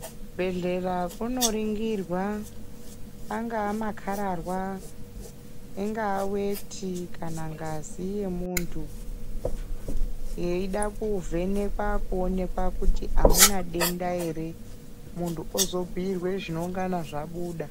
Kuzvibhedhlera kunoringirwa angava makararwa ingava weti kana ngazi yemuntu yeida kuvhenekwa kuonekwa kuti amuna denda here, muntu ozobhuyirwe zvinongana zvabuda.